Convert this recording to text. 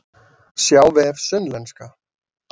Sjá vef Sunnlenska